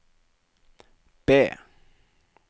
B